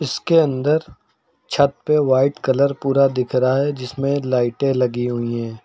इसके अंदर छत पे वाइट कलर पूरा दिख रहा है जिसमें लाइटें लगी हुई हैं।